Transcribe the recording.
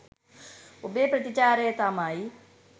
ඔබේ ප්‍රතිචාරය තමයි